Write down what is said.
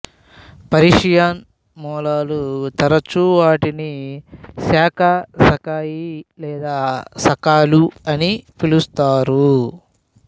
Persian మూలాలు తరచూ వాటిని శాకా సకాయి లేదా సకాలు అని పిలుస్తారు